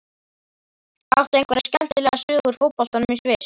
Áttu einhverja skemmtilega sögu úr boltanum í Sviss?